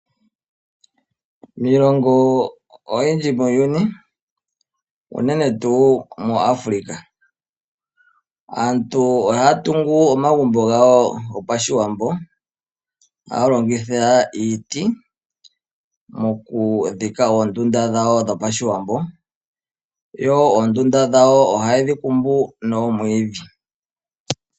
Miilongo oyindji muuyuni unene tuu moAfrica , aantu ohaya tungu omagumbo gawo gopashiwambo aya longitha iiti moku dhika oondunda dhawo dhopashiwambo, yo oondunda dhawo ohaye dhi kumbu noomwiidhi .